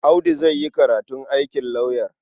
Audu zai yi karatun aikin lauyer.